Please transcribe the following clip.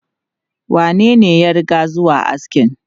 Wanene ya riga zuwa askin?